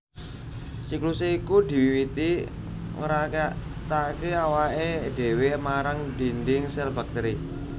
Siklusé iku diwiwiti ngraketaké awaké dhéwé marang dhindhing sèl baktèri